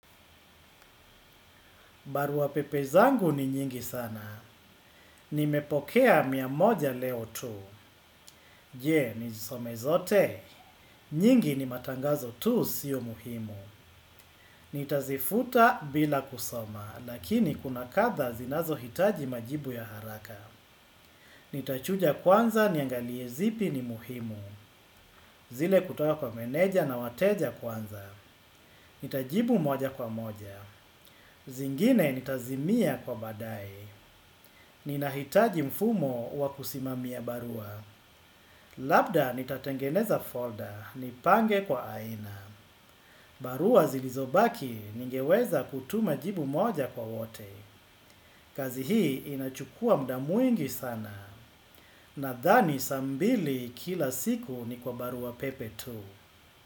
Barua pepe zangu ni nyingi sana. Nimepokea mia moja leo tu. Je, nizisome zote. Nyingi ni matangazo tu, sio muhimu. Nitazifuta bila kusoma, lakini kuna kadhaa zinazohitaji majibu ya haraka. Nitachuja kwanza niangalie zipi ni muhimu. Zile kutoka kwa meneja na wateja kwanza. Nitajibu moja kwa moja. Zingine nitazimia kwa badae. Ni nahitaji mfumo wa kusimamia barua. Labda nitatengeneza folder nipange kwa aina. Barua zilizobaki ningeweza kutuma jibu moja kwa wote. Kazi hii inachukua muda mwingi sana. Nadhani saa mbili kila siku ni kwa barua pepe tu.